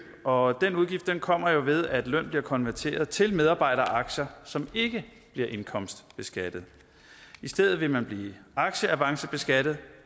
og den udgift kommer jo ved at løn bliver konverteret til medarbejderaktier som ikke bliver indkomstbeskattet i stedet vil man blive aktieavancebeskattet